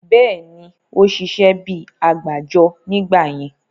Bẹ́ẹ̀ni, ó ṣiṣẹ́ bíi àgbájọ nígbà yẹn